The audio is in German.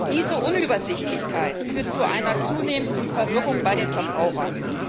Diese Unübersichtlichkeit führt zu einer zunehmenden Verwirrung bei den Verbrauchern.